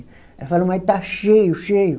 Ela falou, mas está cheio, cheio.